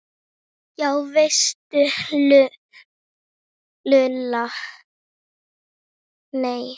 Já veistu Lulla, nei